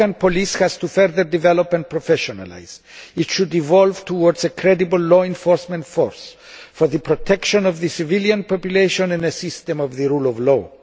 The Afghan police force has to further develop and professionalise. It should evolve towards a credible law enforcement force, for the protection of the civilian population and the system of the rule of law.